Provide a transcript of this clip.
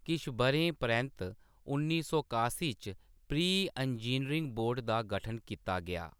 किश ब'रें परैंत्त उन्नी सौ कासी च प्री इंजीनियरिंग बोर्ड दा गठन कीता गेआ।